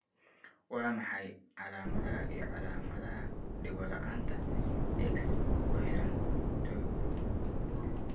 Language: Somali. Waa maxay calaamadaha iyo calaamadaha Dhegola'aanta, X ku xidhan 2?